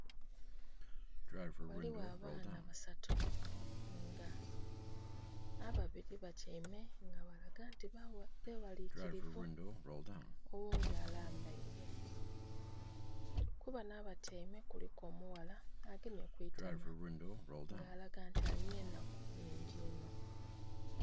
Ghaligho abaana basatu nga ababiri batyaime nga balaga nti bewalikirivu, oghundhi alambaire. Ku bano abatyaime kuliku omuwala agemye ku itama nga alaga nti alina enaku nnhingi inho.